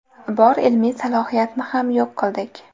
Bor ilmiy salohiyatni ham yo‘q qildik.